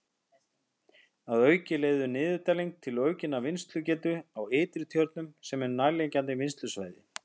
Að auki leiðir niðurdælingin til aukinnar vinnslugetu á Ytri-Tjörnum sem er nærliggjandi vinnslusvæði.